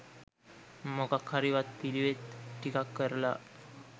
මොකක් හරි වත් පිළිවෙත් ටිකක් කරලා